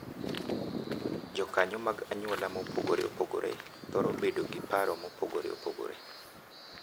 Jokanyo mag anyuola mopogore opogore thoro bedo gi paro mopogore opogore .